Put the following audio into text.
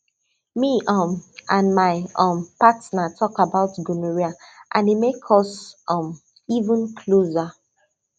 me um and my um partner talk about gonorrhea and e make us um even closer